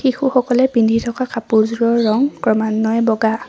শিশুসকলে পিন্ধি থকা কাপোৰযোৰৰ ৰং ক্ৰমান্বয়ে বগা।